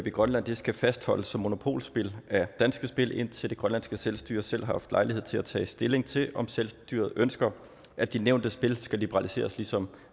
i grønland skal fastholdes som monopolspil af danske spil indtil det grønlandske selvstyre selv har haft lejlighed til at tage stilling til om selvstyret ønsker at de nævnte spil skal liberaliseres ligesom